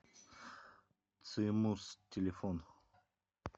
цимус телефон